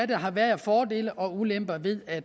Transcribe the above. der har været af fordele og ulemper ved at